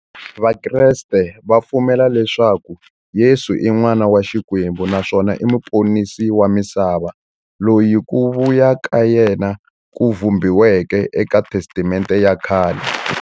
Vakreste va pfumela leswaku Yesu i n'wana wa Xikwembu naswona i muponisi wa misava, loyi ku vuya ka yena ku vhumbiweke eka Testamente ya khale.